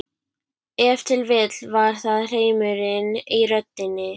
Ef til vill var það hreimurinn í röddinni.